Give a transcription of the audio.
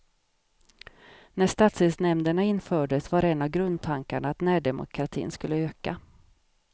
När stadsdelsnämnderna infördes var en av grundtankarna att närdemokratin skulle öka.